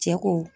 Cɛ ko